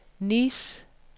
Nice